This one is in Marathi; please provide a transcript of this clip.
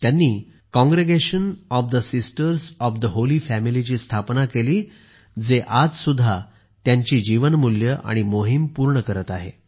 त्यांनी Congregation of the Sisters of the Holy Family ची स्थापना केली जे आज सुद्धा त्यांची जीवनमूल्ये आणि मोहीम पूर्ण करत आहे